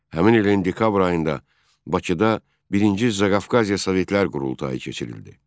Həmin ilin dekabr ayında Bakıda birinci Zaqafqaziya Sovetlər qurultayı keçirildi.